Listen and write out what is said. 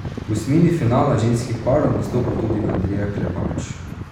V osmini finala ženskih parov nastopa tudi Andreja Klepač.